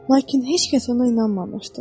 Lakin heç kəs ona inanmamışdı.